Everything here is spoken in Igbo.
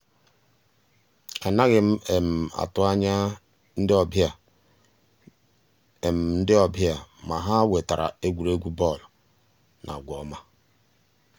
ànàghị́ m um àtụ́ ànyá ndí um ọ́bị̀à ndí um ọ́bị̀à mà ha wètàra ègwùrègwù bọ́ọ̀lụ́ na àgwà ọ́ma.